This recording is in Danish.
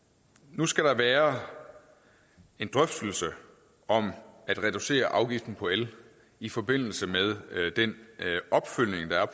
nu skal der være en drøftelse om at reducere afgiften på el i forbindelse med opfølgningen